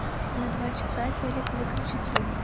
на два часа телек выключить звук